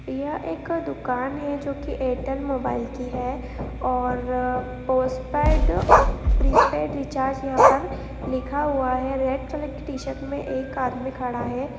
यह एक दूकान है जो कि एयरटेल मोबाइल की है। और पोस्टपेड प्रीपेड रिचार्ज यहां पर लिखा हुआ है। रेड कलर की टीशर्ट में एक आदमी खड़ा है।